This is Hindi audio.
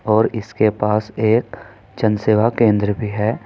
और इसके पास एक जन सेवा केंद्र भी है।